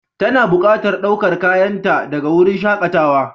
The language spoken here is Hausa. Tana buƙatar ɗaukar kayanta daga wurin shakatawa.